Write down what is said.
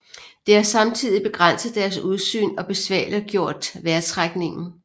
Det har samtidig begrænset deres udsyn og besværliggjort vejrtrækningen